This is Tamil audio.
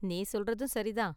நீ சொல்றதும் சரி தான்.